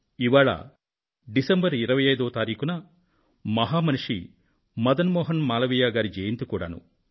ఇవాళ డిసెంబర్ 25వ తారీఖున మహామనిషి మదన్ మోహన్ మాలవీయ గారి జయంతి కూడానూ